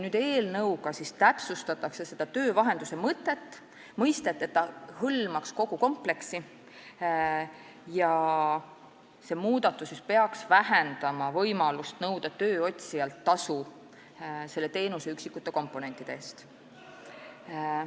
Eelnõuga täpsustatakse nüüd töövahenduse mõistet, et see hõlmaks kogu kompleksi, ja muudatus peaks vähendama võimalust nõuda tööotsijalt tasu teenuse üksikute komponentide eest.